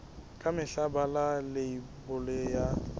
ka mehla bala leibole ya